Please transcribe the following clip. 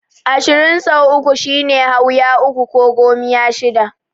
Ashirin sau uku shine Hauya uku ko Gomiya shida.